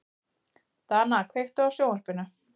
Dana, kveiktu á sjónvarpinu.